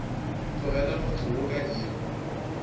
tlogela motse wo ka iri